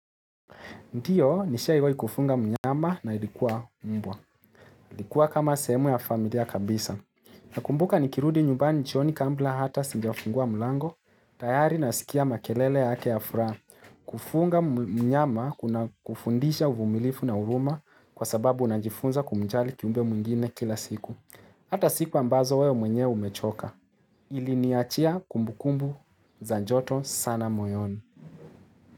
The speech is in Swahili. Ndiyo, nishahi wahi kufunga mnyama na ilikuwa mbwa. Ilikuwa kama sehemu ya familia kabisa. Nakumbuka nikirudi nyumbani chioni kambla hata sinjafungua mulango, tayari nasikia makelele yake ya fura. Kufunga mnyama kuna kufundisha uvumilifu na uruma kwa sababu unajifunza kumjali kiumbe mungine kila siku. Hata siku ambazo wewe mwenye umechoka. Iliniachia kumbukumbu za joto sana moyoni.